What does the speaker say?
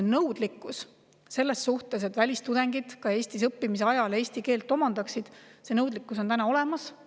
Aga nõudlikkus selle suhtes, et välistudengid Eestis õppimise ajal eesti keele omandaksid, on täna olemas.